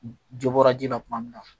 Jo bɔra ji la tuma min na